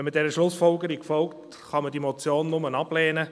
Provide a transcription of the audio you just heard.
Wenn man dieser Schlussfolgerung folgt, kann man diese Motion nur ablehnen.